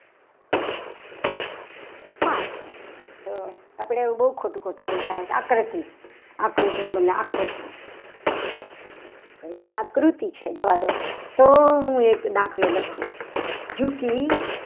આપણે બહુ ખોટું ખોટું બોલતા હતા. આકૃતિ ને બદલે આકૃતિ આકૃતિ છે. જવા દો તો હું એક દાખલો લખું.